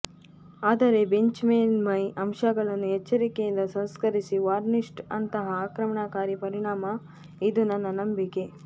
ಆದರೆ ಬೆಂಚ್ ಮೇಲ್ಮೈ ಅಂಶಗಳನ್ನು ಎಚ್ಚರಿಕೆಯಿಂದ ಸಂಸ್ಕರಿಸಿ ವಾರ್ನಿಷ್ಡ್ ಅಂತಹಾ ಆಕ್ರಮಣಕಾರಿ ಪರಿಣಾಮ ಇದು ನನ್ನ ನಂಬಿಕೆ